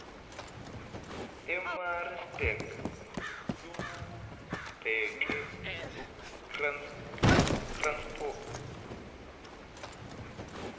emaritzburg lubheke ekranskop